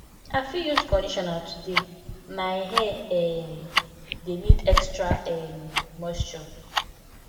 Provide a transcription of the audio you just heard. i fit use conditioner today my hair um dey need extra um moisture